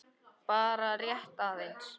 Bara rétt aðeins.